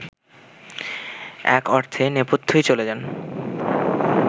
এক অর্থে নেপথ্যেই চলে যান